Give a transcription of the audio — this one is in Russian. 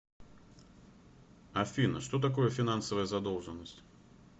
афина что такое финансовая задолженность